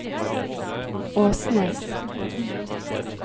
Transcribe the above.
Åsnes